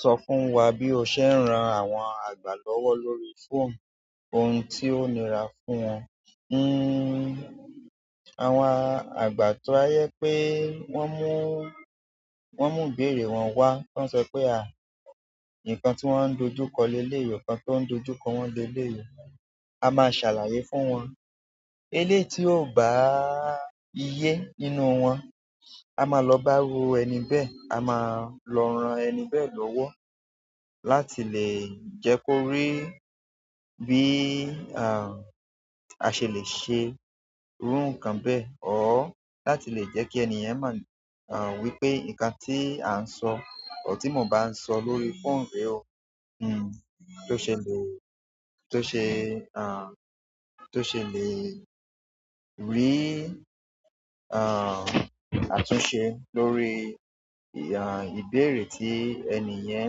Sọ fún wa bí o ṣe ń ran àwọn àgbà lọ́wọ́ lórí fóònù, ohun tí ó nira fún wọn. Hmm, àwọn àgbà tó bá je pé wọ́n mú, wọ́n mú ìbéèrè wọn wá, tí wọ́n sọ pé à, nǹkan tí wọ́n ń dojú kọ lé lé yi o, nǹkan tí oun ń dojú kọ wọ́n lé lè yi, a máa ṣàlàyé fún wọn. Elé tí ò báà ye nínú wọn, a máa lọ bá iru ẹni bẹ́ẹ̀, a máa lọ ran ẹni bẹ́ẹ̀ lọ́wọ́ láti lè jẹ́ kó rí bí, à, a ṣe lè ṣe irú nǹkan bẹ́ẹ̀ ọ́ láti lè jẹ́ kí ènìyen mọ̀, à, wípé nǹkan tí à ń sọ, or ti mò ń bá sọ lórí fóònù rẹ o, hmm, tó ṣe lè, tó ṣe, à, tó ṣe lè rì, à, àtúnṣe lórí, à, ìbéèrè tí ènìyen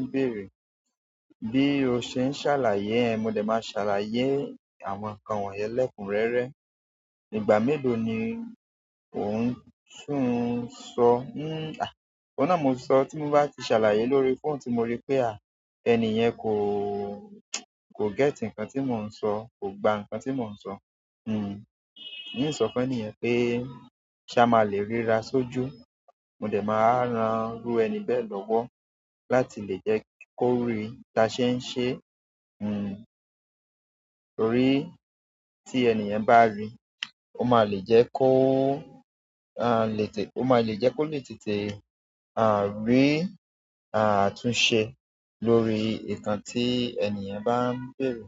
ń bèèrè. Bí o ṣe ń ṣàlàyé ẹ, mo dẹ̀ máa ṣàlàyé àwọn nǹkan wọ̀n yẹn lẹ́kùn rẹ́rẹ́. Ìgbà mélòó ni ò ń tún sọ? Hmm, à, ọ̀un nà mo sọ tí mo bá ti ṣàlàyé lórí fóònù tí mo rí pé à, ènìyen kò, kò get nǹkan tí mò ń sọ, kò gba nǹkan tí mò ń sọ, hmm, n sọ fún ènìyen pé ṣá máa lè ríra sójú, mo dẹ̀ máa ran irú ẹni bẹ́ẹ̀ lọ́wọ́ láti lè jẹ́ kó rí tí a ṣe ń ṣe, hmm, torí tí ènìyàn bá ri, ó máa lè jẹ́ kó, a lè tè, ó máa lè jẹ́ kó lè tètè, à, rí, à, àtúnṣe lórí nǹkan tí ènìyen bá ń bèèrè.